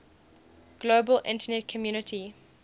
global internet community